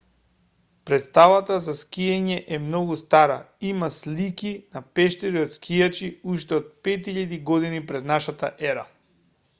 претставата за скијање е многу стара има слики на пештери од скијачи уште од 5000 година п.н.е